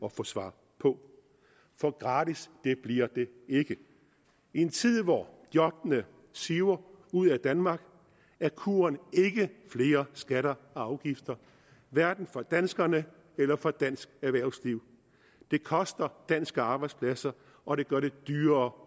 at få svar på for gratis bliver det ikke i en tid hvor jobbene siver ud af danmark er kuren ikke flere skatter og afgifter hverken for danskerne eller for dansk erhvervsliv det koster danske arbejdspladser og det gør det dyrere